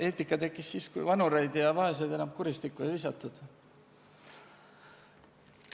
Eetika tekkis siis, kui vanureid ja vaeseid enam kuristikku ei visatud.